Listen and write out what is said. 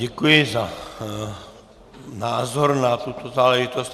Děkuji za názor na tuto záležitost.